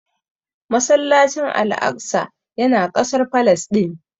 Masallacin Al'aqsa ya na kasar Falasɗin